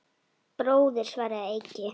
Bróðir, svaraði Eiki.